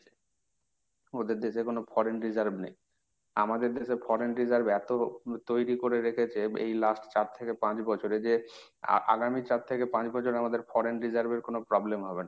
ওদের দেশে কোন foreign reserve নেই। আমাদের দেশে foreign reserve এত আহ তৈরি করে রেখেছে এই last চার থেকে পাঁচ বছরে যে আগামী চার থেকে পাঁচ বছর আমাদের foreign reserve এর কোন problem হবে না।